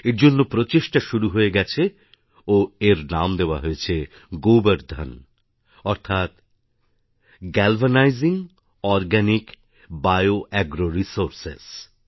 এর জন্য প্রচেষ্টা শুরু হয়ে গেছে ও এর নাম দেওয়া হয়েছে গোবার ধান অর্থাৎ গ্যালভানাইজিং অর্গানিকবিয়াগ্র রিসোর্স